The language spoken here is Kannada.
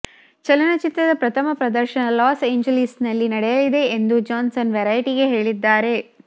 ಚಲನಚಿತ್ರದ ಪ್ರಥಮ ಪ್ರದರ್ಶನ ಲಾಸ್ ಏಂಜಲೀಸ್ನಲ್ಲಿ ನಡೆಯಲಿದೆ ಎಂದು ಜಾನ್ಸನ್ ವೆರೈಟಿಗೆ ಹೇಳಿದ್ದಾರೆ